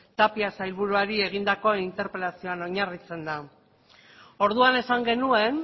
tapia sailburuari egindako interpelazioan oinarritzen da orduan esan genuen